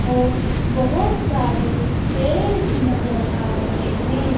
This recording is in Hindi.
और बहोत सारे पेड़ भीं नजर आ रहें हैं।